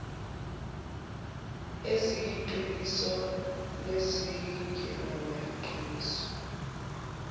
eziyiqiniso nezingelona iqiniso